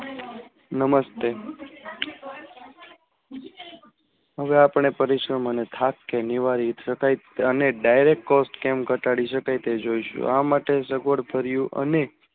નમસ્તે હવે આપણે કરીશુ થાપ કે નિવારી શકાય તેને directCoft કેમ ઘટાડી સક તે જોઇશુ આ માટે સગડ ફર્યું અને